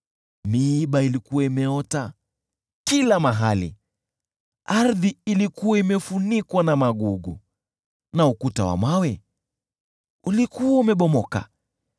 miiba ilikuwa imeota kila mahali, ardhi ilikuwa imefunikwa na magugu, na ukuta wa mawe ulikuwa umebomoka.